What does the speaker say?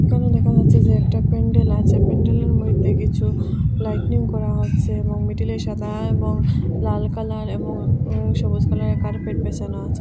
এখানে দেখা যাচ্ছে যে একটা প্যান্ডেল আছে প্যান্ডেলের মধ্যে কিছু লাইটিনিং করা হচ্ছে এবং মিডিলে সাদা এবং লাল কালার এবং উম সবুজ কালারের কার্পেট বেছানো আছে।